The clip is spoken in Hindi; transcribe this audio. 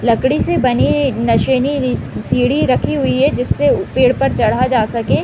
लकड़ी से बने नसेनी सीढ़ी रखी हुई है जिससे पेड़ पर चढ़ा जा सके।